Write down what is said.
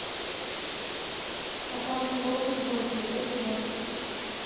пацанки новый сезон смотреть онлайн